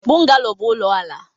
Bungalo bụ ụlọ ala.